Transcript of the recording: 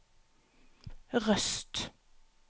Røst